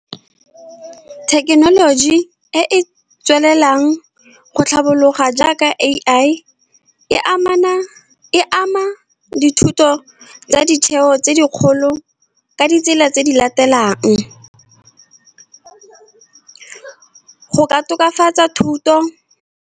Thekenoloji e e tswelelang go tlhabologa jaaka A_I, e ama dithuto tsa ditheo tse dikgolo, ka ditsela tse di latelang go ka tokafatsa thuto.